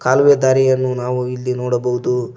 ಕಾಲುವೆ ದಾರಿಯನ್ನು ನಾವು ಇಲ್ಲಿ ನೋಡಬಹುದು.